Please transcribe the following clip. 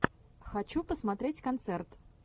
хочу посмотреть концерт